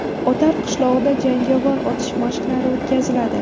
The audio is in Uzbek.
Otar qishlog‘ida jangovar otish mashqlari o‘tkaziladi.